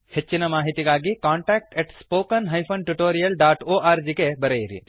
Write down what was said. ಹೆಚ್ಚಿನ ಮಾಹಿತಿಗಾಗಿ contactspoken tutorialorg ಗೆ ಬರೆಯಿರಿ